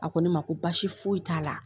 A ko ne ma ko basi foyi t'a la.